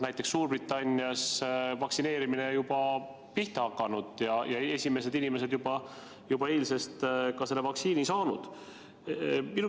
Näiteks Suurbritannias on vaktsineerimine juba pihta hakanud ja esimesed inimesed eile selle vaktsiini said.